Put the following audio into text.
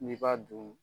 N'i b'a dun